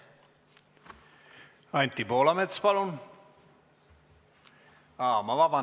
Anti Poolamets, palun!